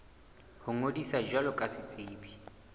ho ngodisa jwalo ka setsebi